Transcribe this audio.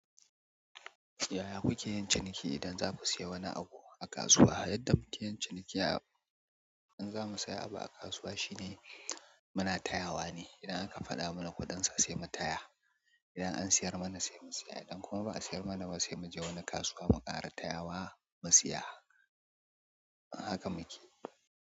Yaya kuke yin ciniki idan za ku sayi wani abu a kasuwa? Yadda muke yin ciniki in za mu sayi abu a kasuwa shine muna tayawa ne. Idan aka faɗa mana kuɗin sa sai mu taya. Idan an siyar mana sai mu saya, idan kuma ba a siyar mana ba sai mu je wani kasuwa mu ƙara tayawa mu saya. Haka muke.